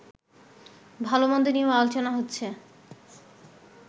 ভালোমন্দ নিয়েও আলোচনা হচ্ছে